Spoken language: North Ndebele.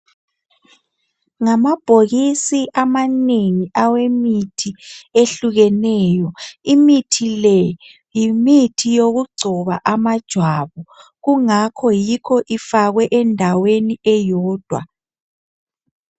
Ngamabhokisi amanengi awemithi ehlukeneyo imithi le yimithi yokugcoba amajwabu kungakho yikho ifakwe endaweni eyodwa